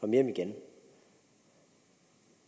hjem igen